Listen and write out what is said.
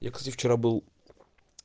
я кстати вчера был